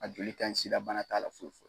A joli ka ɲi sida bana t'ala foyi